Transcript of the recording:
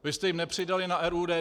Vy jste jim nepřidali na RUD.